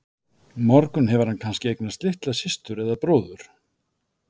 morgun hefur hann kannski eignast litla systur eða bróður.